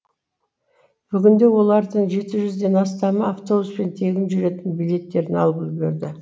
бүгінде олардың жеті жүзден астамы автобуспен тегін жүретін билеттерін алып үлгерді